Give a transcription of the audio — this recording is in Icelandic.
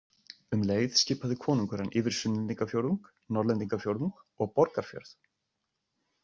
Um leið skipaði konungur hann yfir Sunnlendingafjórðung, Norðlendingafjórðung og Borgarfjörð.